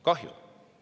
Kahju!